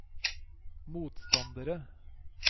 motstandere